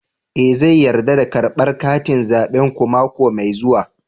Eh zan yarda da karbar katin zabenku mako mai zuwa